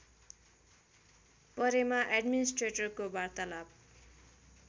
परेमा एड्मिनिस्ट्रेटरको वार्तालाप